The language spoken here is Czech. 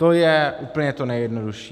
To je úplně to nejjednodušší.